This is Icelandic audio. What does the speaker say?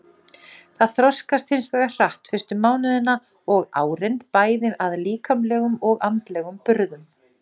Það þroskast hins vegar hratt fyrstu mánuðina og árin bæði að líkamlegum og andlegum burðum.